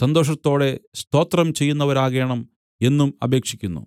സന്തോഷത്തോടെ സ്തോത്രം ചെയ്യുന്നവരാകേണം എന്നും അപേക്ഷിക്കുന്നു